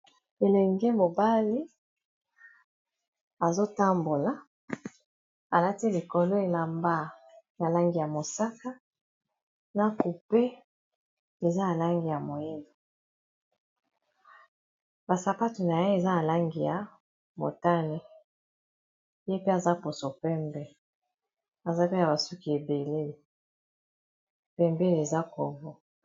elenge mobali azotambola alati likolo elamba ya langi ya mosaka na cupe eza alangi ya moyele basapatu na ye eza a langi ya motane ye pe aza poso pembe aza pe na basuki ebele pembele eza covo